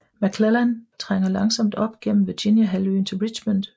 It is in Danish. McClellan trænger langsomt op gennem Virginia halvøen til Richmond